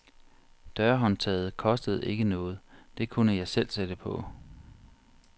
Dørhåndtaget kostede ikke noget, det kunne jeg selv sætte på.